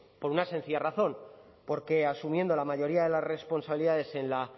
por una sencilla razón porque asumiendo la mayoría de las responsabilidades en la